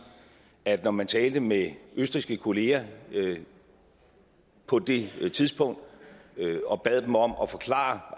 at når man talte med østrigske kolleger på det tidspunkt og bad dem om at forklare